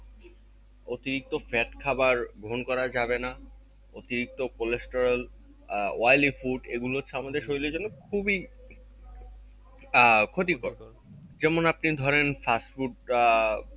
অতিরিক্ত fat খাবার গ্রহণ করা যাবেনা অতিরিক্ত cholesterol আহ oily food এগুলো আমাদের শরীরের জন্য খুবই আহ ক্ষতিকর যেমন আপনি ধরেন fast food আহ